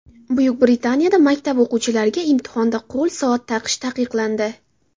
Buyuk Britaniyada maktab o‘quvchilariga imtihonda qo‘l soat taqish taqiqlandi.